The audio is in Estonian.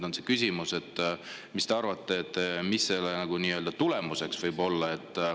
Küsimus on, mis te arvate, mis selle tulemuseks võib olla.